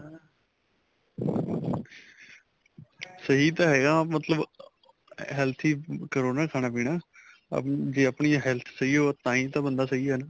ਸਹੀ ਤਾਂ ਹੈਗਾ ਮਤਲਬ healthy ਕਰੋ ਨਾ ਖਾਣਾ ਪੀਣਾ ਅਹ ਜੇ ਆਪਣੀ health ਸਹੀਂ ਹੋਵੇ ਤਾਂਹੀ ਤਾਂ ਬੰਦਾ ਸਹੀ ਏ ਨਾ